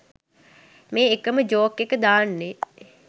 මේ එකම ජෝක් එක දාන්නේ?